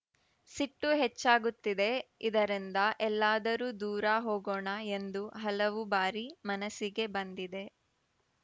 ಸಿಟ್ಟು ಹೆಚ್ಚಾಗುತ್ತಿದೆ ಇದರಿಂದ ಎಲ್ಲಾದರೂ ದೂರ ಹೋಗೊಣ ಎಂದು ಹಲವು ಬಾರಿ ಮನಸ್ಸಿಗೆ ಬಂದಿದೆ